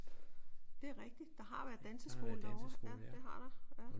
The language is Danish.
Det er rigtigt. Der har været danseskole derovre. Ja det har der ja